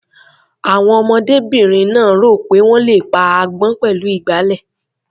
Àwọn ọmọdébìnrin náà rò pé wọ́n le pa agbọ́n pẹ̀lú ìgbálẹ̀.